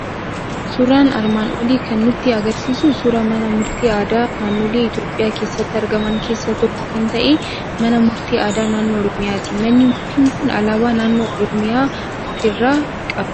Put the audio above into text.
Suuraan armaan olii kan nutti argisiisu suuraa mana murtii aadaa naannolee Itoophiyaa keessatti argaman keessaa tokko kan ta'e, mana murtii aadaa naannoo Oromiyaati. Manni murtii kun alaabaa naannoo Oromiyaa ofirraa qaba.